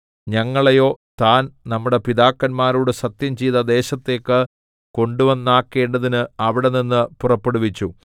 ഞങ്ങളെയോ താൻ നമ്മുടെ പിതാക്കന്മാരോട് സത്യംചെയ്ത ദേശത്തേക്ക് കൊണ്ടുവന്നാക്കേണ്ടതിന് അവിടെനിന്ന് പുറപ്പെടുവിച്ചു